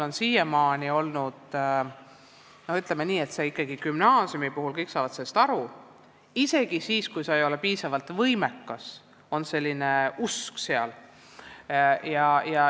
Siiamaani on olnud nii, et gümnaasiumis, kõik saavad sellest aru, on isegi siis, kui sa ei ole piisavalt võimekas, olemas selline usk.